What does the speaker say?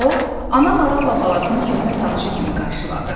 O, ana maralla balasını köhnə tanışı kimi qarşıladı.